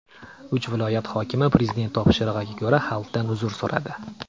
Uch viloyat hokimi Prezident topshirig‘iga ko‘ra xalqdan uzr so‘radi.